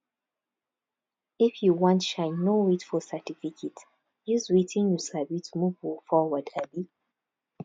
if you want shine no wait for certificate use wetin you sabi to move forward um